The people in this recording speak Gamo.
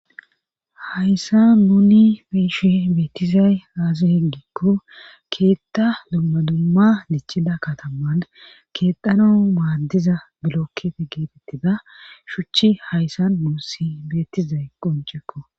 hayssa nuni beeshi beettizay aazi heggikku keetta dumma dumma dichida kataman keexano maaddiza bilokkete geetettida shuchi hayssan nuussi beetizay qoncekko